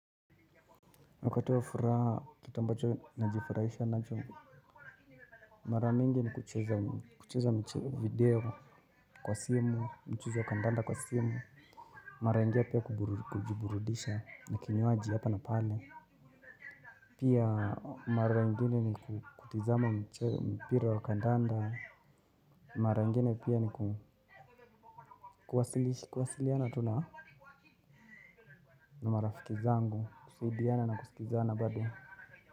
Wakati wa furaha, kitu ambacho najifurahisha nacho, mara mingi ni kucheza video kwa simu, mchuzi wa kandanda kwa simu. Mara ingia pia kujiburudisha na kinywaji hapa na pale. Pia mara ingine ni kutizama mpira wa kandanda. Mara ingine pia ni kuwasiliana tu na na marafiki zangu, kusaidiana na kusikizana bado.